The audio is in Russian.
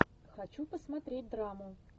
хочу посмотреть драму